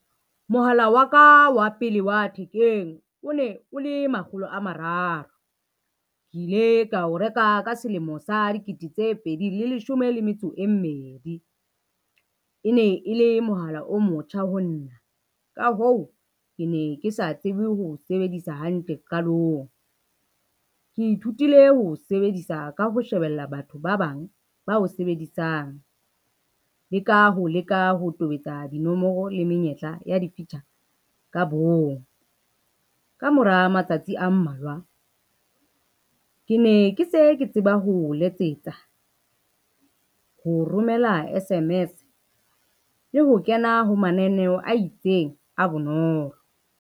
Mohala wa ka wa pele wa thekeng o ne o le makgolo a mararo. Ke ile ka o reka ka selemo sa dikete tse pedi le leshome le metso e mmedi. E ne e le mohala o motjha ho nna, ka hoo, ke ne ke sa tsebe ho sebedisa hantle qalong. Ke ithutile ho o sebedisa ka ho shebella batho ba bang ba o sebedisang, le ka ho leka ho tobetsa dinomoro le menyetla ya di-feature ka bong. Ka mora matsatsi a mmalwa ke ne ke ke se ke tseba ho o letsetsa, ho romela S_M_S le ho kena ho mananeo a itseng a bonolo.